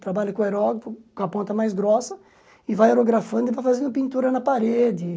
Trabalha com aerógrafo, com a ponta mais grossa, e vai aerografando e vai fazendo pintura na parede.